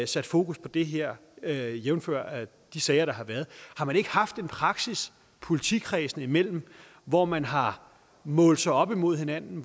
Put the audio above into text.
sat fokus på det her her jævnfør de sager der har været har man ikke haft en praksis politikredsene imellem hvor man har målt sig op imod hinanden